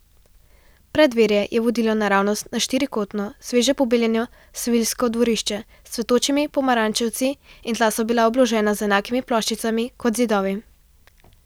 Preddverje je vodilo naravnost na štirikotno, sveže pobeljeno seviljsko dvorišče s cvetočimi pomarančevci in tla so bila obložena z enakimi ploščicami kot zidovi.